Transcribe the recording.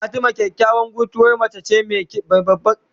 Fati kyakyawan guntuwar mace ce mai babban giki.